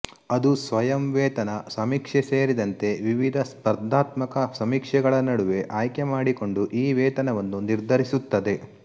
ಅದು ಸ್ವಯಂ ವೇತನ ಸಮೀಕ್ಷೆ ಸೇರಿದಂತೆ ವಿವಿಧ ಸ್ಪರ್ಧಾತ್ಮಕ ಸಮೀಕ್ಷೆಗಳ ನಡುವೆ ಆಯ್ಕೆ ಮಾಡಿಕೊಂಡು ಈ ವೇತನವನ್ನು ನಿರ್ಧರಿಸುತ್ತದೆ